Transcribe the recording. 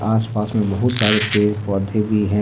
आसपास में बहुत सारे पेड़ पौधे भी हैं।